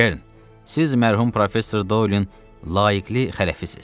Kern, siz mərhum Professor Doylin layiqli xələfisiz.